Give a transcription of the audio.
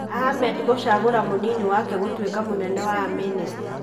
Ahmed gũcagũra mũnini wake gũtũika mũnene wa amĩnĩsta.